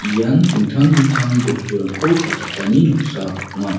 ian dingtang dingtang bosturangko palchakani noksa ong·a.